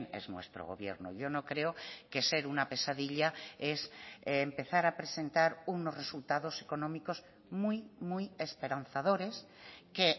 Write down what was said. es nuestro gobierno yo no creo que ser una pesadilla es empezar a presentar unos resultados económicos muy muy esperanzadores que